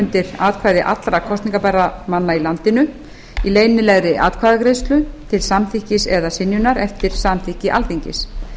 undir atkvæði allra kosningarbærra manna í landinu í leynilegri atkvæðagreiðslu til samþykkis eða synjunar eftir samþykki alþingis